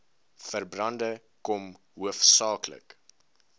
veldbrande kom hoofsaaklik